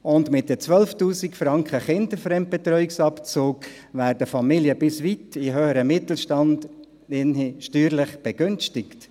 Und durch die 12’000 Franken Kinderfremdbetreuungsabzug werden Familien bis weit in den höheren Mittelstand steuerlich begünstigt.